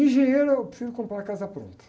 Engenheiro, eu prefiro comprar a casa pronta.